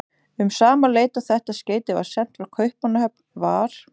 Um sama leyti og þetta skeyti var sent frá Kaupmannahöfn, var